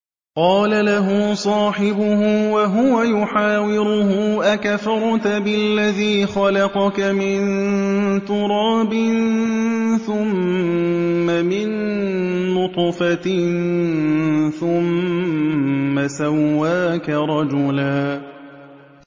قَالَ لَهُ صَاحِبُهُ وَهُوَ يُحَاوِرُهُ أَكَفَرْتَ بِالَّذِي خَلَقَكَ مِن تُرَابٍ ثُمَّ مِن نُّطْفَةٍ ثُمَّ سَوَّاكَ رَجُلًا